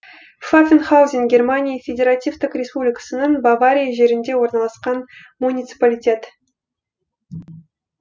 пфаффенхаузен германия федеративтік республикасының бавария жерінде орналасқан муниципалитет